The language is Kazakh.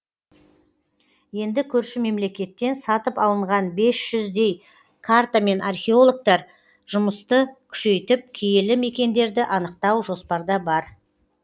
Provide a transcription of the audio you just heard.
енді көрші мемлекеттен сатып алынған бес жүздей картамен археологтар жұмысты күшейтіп киелі мекендерді анықтау жоспарда бар